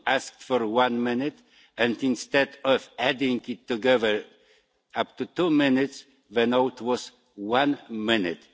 You asked for one minute and, instead of adding it together to make two minutes, the note was one minute.